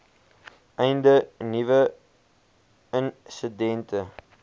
einde nuwe insidente